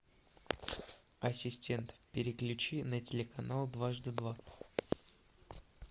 ассистент переключи на телеканал дважды два